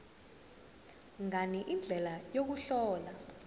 ngani indlela yokuhlola